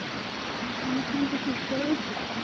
অনেকক্ষণতো চুপ করেও ছিলি